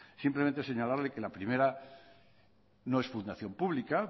simplemente señalarle que la primera no es fundación pública